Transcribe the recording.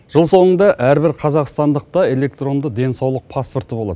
жыл соңында әрбір қазақстандықта электронды денсаулық паспорты болады